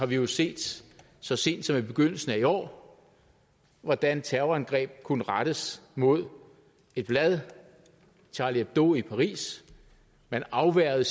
vi jo set så sent som i begyndelsen af i år hvordan terrorangreb kunne rettes mod et blad charlie hebdo i paris man afværgede